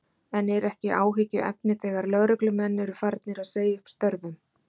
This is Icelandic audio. En er ekki áhyggjuefni þegar lögreglumenn eru farnir að segja upp störfum?